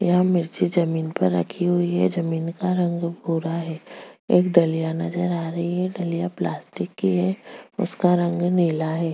एक मिर्ची जमीन पर रखी हुई है जमीन का रंग भूरा है एक डलिया नजर आ रही है डलिया प्लास्टिक की है उसका रंग नीला है।